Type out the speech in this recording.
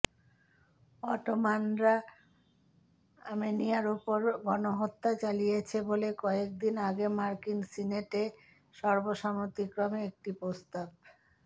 অটোমানরা আর্মেনিয়ার ওপর গণহত্যা চালিয়েছে বলে কয়েকদিন আগে মার্কিন সিনেটে সর্বসম্মতিক্রমে একটি প্রস্তাব